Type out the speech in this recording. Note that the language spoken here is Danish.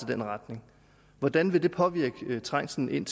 den retning hvordan vil det påvirke trængslen ind